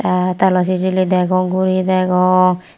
te telaw sijili degong guri degong.